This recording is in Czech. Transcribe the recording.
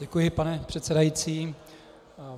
Děkuji, pane předsedající.